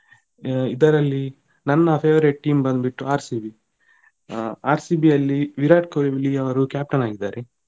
ಇದರಲ್ಲಿ ನನ್ನ favourite team ಬಂದ್ಬಿಟ್ಟು RCB ಆ RCB ಯಲ್ಲಿ ವಿರಾಟ್ ಕೊಹ್ಲಿಯವರು captain ಆಗಿದ್ದಾರೆ.